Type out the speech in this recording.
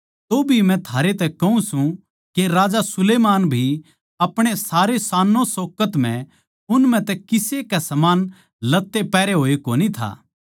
तोभी मै थारे तै कहूँ सूं के राजा सुलैमान भी अपणे सारे शानोंशोकत म्ह उन म्ह तै किसे के समान लत्ते पैहरे होए कोनी था